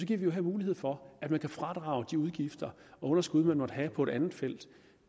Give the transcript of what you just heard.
giver vi jo her mulighed for at man kan fradrage de udgifter og underskud man måtte have på et andet felt